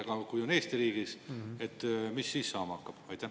Aga kui on Eesti riigis, mis siis saama hakkab?